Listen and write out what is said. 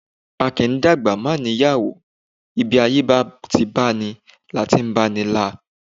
A kì í’dàgbà má ní ìyàwó, ibi ayé bá ti báni la ti báni la